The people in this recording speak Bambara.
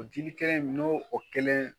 O jili kɛlen in n'o o kelen